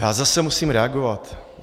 Já zase musím reagovat.